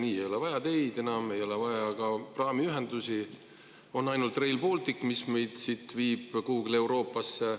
Nii ei ole vaja enam teid, ei ole vaja ka praamiühendusi, on ainult Rail Baltic, mis viib meid siit kuhugi Euroopasse.